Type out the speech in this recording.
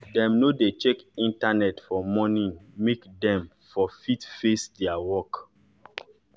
dem nor dey check internet for morning make dem for fit face their work